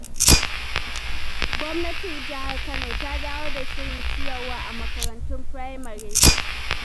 Gwamnatin Jihar Kano ta dawo da shirin ciyarwa a makarantun firamare.